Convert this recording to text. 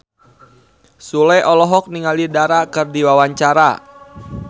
Sule olohok ningali Dara keur diwawancara